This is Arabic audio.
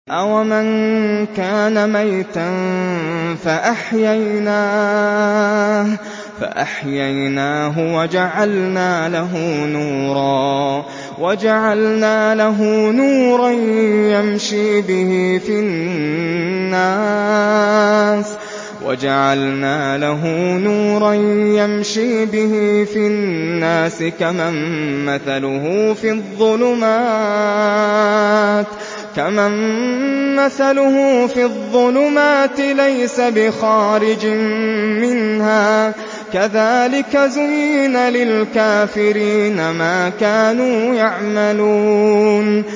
أَوَمَن كَانَ مَيْتًا فَأَحْيَيْنَاهُ وَجَعَلْنَا لَهُ نُورًا يَمْشِي بِهِ فِي النَّاسِ كَمَن مَّثَلُهُ فِي الظُّلُمَاتِ لَيْسَ بِخَارِجٍ مِّنْهَا ۚ كَذَٰلِكَ زُيِّنَ لِلْكَافِرِينَ مَا كَانُوا يَعْمَلُونَ